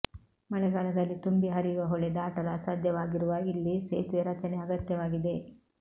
ಮಳೆಗಾಲದಲ್ಲಿ ತುಂಬಿ ಹರಿಯುವ ಹೊಳೆ ದಾಟಲು ಅಸಾಧ್ಯವಾಗಿರುವ ಇಲ್ಲಿ ಸೇತುವೆ ರಚನೆ ಅಗತ್ಯವಾಗಿದೆ